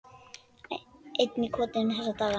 Einn í kotinu þessa dagana.